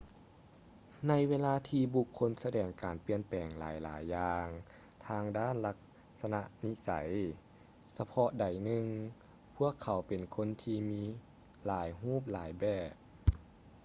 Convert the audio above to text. ໃນເວລາທີ່ບຸກຄົນສະແດງການປ່ຽນແປງຫຼາຍໆຢ່າງທາງດ້ານລັກສະນະນິໄສ ສະເພາະໃດໜຶ່ງ ພວກເຂົາເປັນຄົນທີ່ມີຫຼາຍຮູບຫຼາຍແບບ